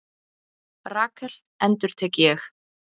Rakel endurtek ég?